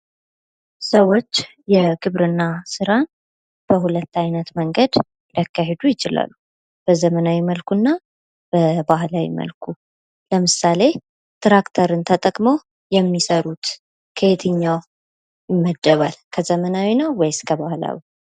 ሰዎች የግብርና ስራን በሁለት አይነት መንገድ ሊያካሂዱ ይችላሉ። በዘመናዊ መልኩና በባህላዊ መልኩ ለምሳሌ ትራክተርን ተጠቅመው የሚሰሩት ከየትኛው ይመደባል? ከዘመናዊ ነው ወይስ ከባህላዊ?